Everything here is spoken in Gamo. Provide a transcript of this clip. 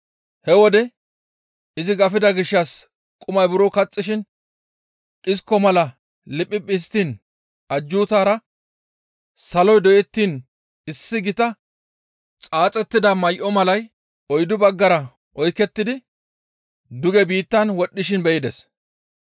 He wode izi gafida gishshas qumay buro kaxxishin dhisko mala liphiphi histtiin ajjuutara saloy doyettiin issi gita xaaxettida may7o malay oyddu baggara oykettidi duge biittan wodhdhishin be7ides.